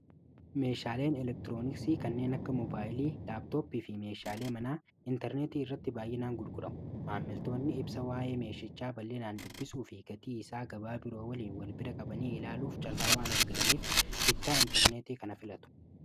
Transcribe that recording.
Meeshaaleen elektiroonisii kanneen akka mobaayilii laaptooppii fi meeshaalee manaa intarneetii irratti baay'inaan gurguramu maammiltoonni ibsa waa'ee meeshachaa bal'eenaan dubbisuu fi gatii isaa gabaa biroo waliin wal bira qabanii ilaaluuf carraa waan argataniif bittaa intarneetii kana filatu.